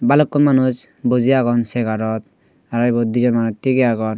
bhalukkun manuj boji agon chegar ot aro ibot di jon manuj thigey agon.